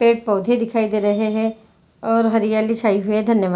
पेड़-पौधे दिखाई दे रहें हैं और हरियाली छाई हुई है धन्यवाद।